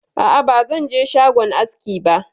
A'a bazan je shagon aski ba.